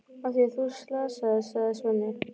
Af því að þú slasaðist, sagði Svenni.